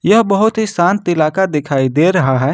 यह बहुत ही शांत इलाका दिखाई दे रहा है।